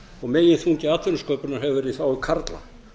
og meginþungi atvinnusköpunar hefur verið í þágu karla